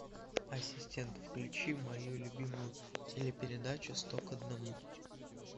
ассистент включи мою любимую телепередачу сто к одному